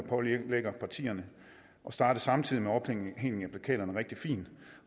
pålægger partierne at starte samtidig med ophængning af plakater er rigtig fint